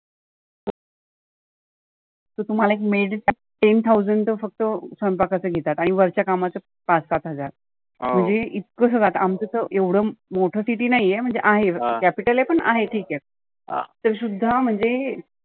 तर तुम्हाला एक maid ten thousand तर फक्त स्वयंपाकाच्या घेतात. आणि वरच्या कामाच पाच सात हजार. म्हणजे इतक सगळ. आमच तर एवढ मोठ city नाहीए म्हणजे आहे, capital आहे पण ठिक आहे. तरी सुद्धा म्हणजे